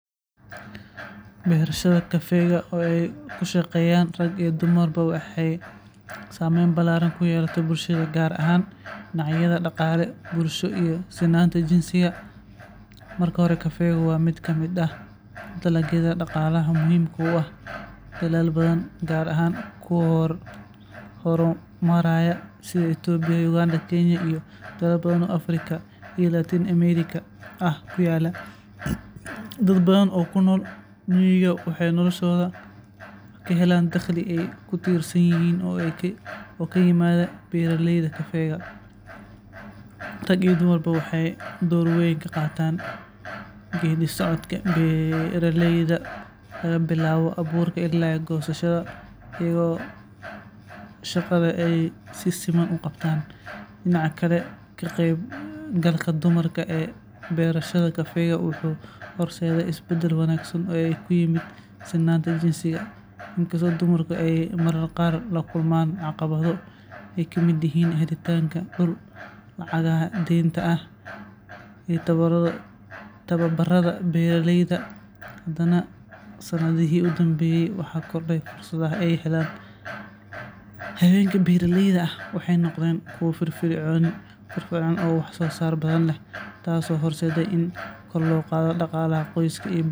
Beerashada kafeega oo ay ka shaqeeyaan rag iyo dumarba waxay saameyn ballaaran ku yeelatay bulshada, gaar ahaan dhinacyada dhaqaale, bulsho iyo sinnaanta jinsiga. Marka hore, kafeegu waa mid ka mid ah dalagyada dhaqaalaha muhiimka u ah dalal badan, gaar ahaan kuwa horumaraya sida Itoobiya, Uganda, Kenya, iyo dalal badan oo Afrika iyo Latin America ah ku yaalla. Dad badan oo ku nool miyiga waxay noloshooda ka helaan dakhli ay ku tiirsan yihiin oo ka yimaada beeraleyda kafeega. Rag iyo dumarba waxay door weyn ka qaataan geeddi-socodka beeraleyda laga bilaabo abuurka illaa goosashada, iyadoo shaqada ay si siman u qabtaan. Dhinaca kale, ka qaybgalka dumarka ee beerashada kafeega wuxuu horseeday isbeddel wanaagsan oo ku yimid sinnaanta jinsiga. Inkastoo dumarku ay mararka qaar la kulmaan caqabado ay ka mid yihiin helitaanka dhul, lacagaha deynta ah, iyo tababarada beeraleyda, haddana sanadihii u dambeeyay waxaa kordhay fursadaha ay helaan. Haweenka beeraleyda ah waxay noqdeen kuwo firfircoon oo wax-soosaar badan leh, taasoo horseeday in kor loo qaado dhaqaalaha qoysaska iyo